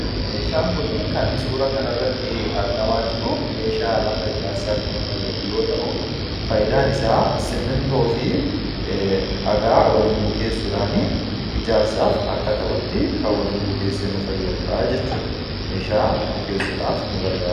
Meeshaan kun kan suuraa kanarratti arginu meeshaa lafa ijaarsaatti nu fayyadu yoo ta'u, fayidaan isaa simmintoo fi dhagaa waliin bukeessuudhaan ijaarsaaf akka ta'uuf kan waliin bukeessee nu fayyadudha jechuudha meeshaa bukeessuudhaaf nu fayyadu.